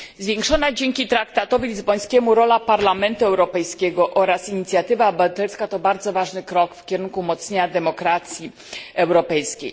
Zwiększona dzięki traktatowi lizbońskiemu rola Parlamentu Europejskiego oraz inicjatywa europejska to bardzo ważny krok w kierunku umocnienia demokracji europejskiej.